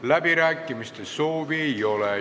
Läbirääkimiste soovi ei ole.